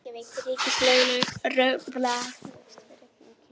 Reykjavík: Ríkislögreglustjórinn og Háskólaútgáfan.